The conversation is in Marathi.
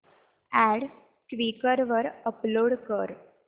अॅड क्वीकर वर अपलोड कर